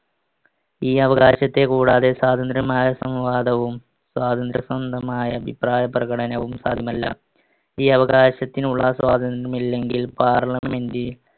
ഈ അവകാശത്തെ കൂടാതെ സ്വാതന്ത്രമായ സ്വാതന്ത്ര അഭിപ്രായപ്രകടനവും സാധ്യമല്ല. ഈ അവകാശത്തിനുള്ള സ്വാതന്ത്ര്യമില്ലെങ്കിൽ parliament